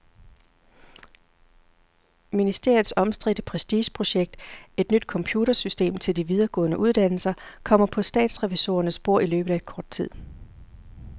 Ministeriets omstridte prestigeprojekt, et nyt computersystem til de videregående uddannelser, kommer på statsrevisorernes bord i løbet af kort tid.